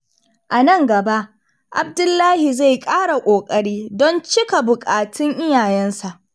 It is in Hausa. A nan gaba, Abdullahi zai ƙara ƙoƙari don cika buƙatun iyayensa.